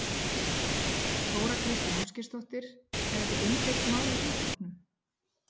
Þóra Kristín Ásgeirsdóttir: Er þetta umdeilt mál í þingflokknum?